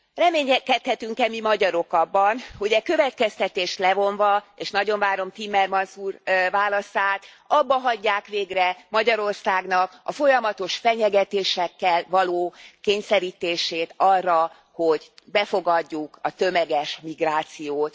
Reménykedhetünk e mi magyarok abban, hogy e következtetést levonva és nagyon várom Timmermans úr válaszát abbahagyják végre Magyarországnak a folyamatos fenyegetésekkel való kényszerítését arra, hogy befogadjuk a tömeges migrációt?